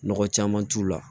Nɔgɔ caman t'u la